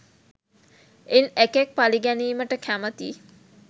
ඉන් එකෙක් පළිගැනීමට කැමති